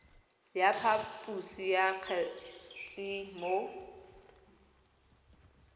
ya phaposo ya kgetse mo